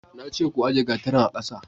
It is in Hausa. na ce ku ajiye gatarin a ƙasa